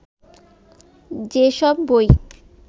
যেসব বই